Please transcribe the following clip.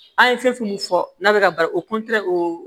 An ye fɛn fɛn min fɔ n'a bɛ ka baro o oo